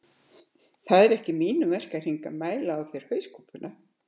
Það er ekki í mínum verkahring að mæla á þér hauskúpuna